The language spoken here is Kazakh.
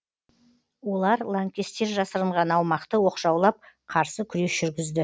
олар лаңкестер жасырынған аумақты оқшаулап қарсы күрес жүргізді